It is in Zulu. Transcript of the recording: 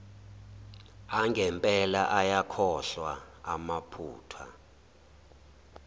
angempela ayakhohlwa ngamaphutha